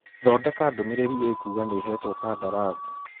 Thondeka ndũmĩrĩri ĩkuuga nĩhetwo kandarathi